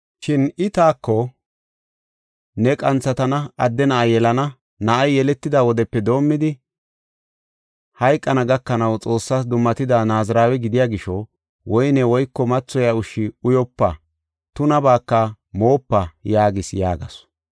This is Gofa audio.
Shin I taako, ‘Ne qanthatana; adde na7a yelana. Na7ay yeletida wodepe doomidi hayqana gakanaw Xoossas dummatida Naazirawe gidiya gisho woyne woyko mathoyiya ushshi uyopa; tunabaaka moopa’ yaagis” yaagasu.